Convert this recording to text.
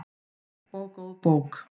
Og góð bók.